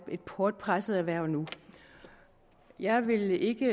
et hårdt presset erhverv nu jeg vil ikke